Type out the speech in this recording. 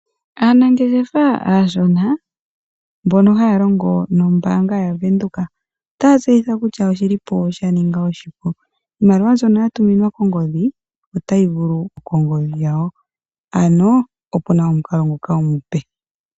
Aanangeshefa aashona mbono haa longitha ombaanga yaVenduka otaatseyithilwa kutya oya ningilwa iinima yawo iipu molwaashoka iimaliwa mbyoka ya tuminwa koongodhi dhawo otayi vulu yiye kongodhi yakehe ngoka wahala nonande ke na okakalata kombaanga oyo tuu ndjika. Nguka omukalo omupe gwa etwa po.